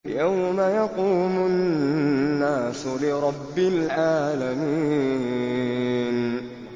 يَوْمَ يَقُومُ النَّاسُ لِرَبِّ الْعَالَمِينَ